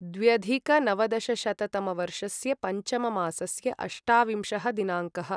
द्व्यधिकनवदशशततमवर्षस्य पञ्चममासस्य अष्टाविंशः दिनाङ्कः